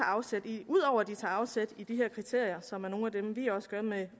afsæt i ud over at de tager afsæt i de her kriterier som vi også gør med